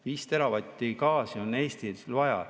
Viis teravatti gaasi on Eestil vaja.